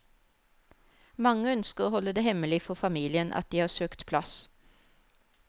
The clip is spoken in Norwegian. Mange ønsker å holde det hemmelig for familien at de har søkt plass.